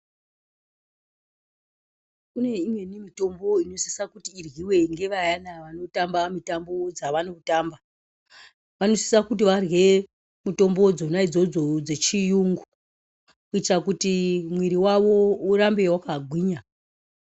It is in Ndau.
Kune imweni mitombo inosisa kuti iryiwe ngevayana vanotamba mitambo dzevanotamba vanosise kuti varye mitombo dzona idzodzo dzechiyungu kuitira kuti mimwiiri yavo irambe yakagwinya .